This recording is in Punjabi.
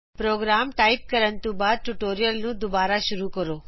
ਪ੍ਰੋਗਰਾਮ ਟਾਈਪ ਕਰਨ ਤੋਂ ਬਾਅਦ ਟਯੂਟੋਰੀਅਲ ਨੂੰ ਦੋਬਾਰਾ ਸ਼ੁਰੂ ਕਰੋ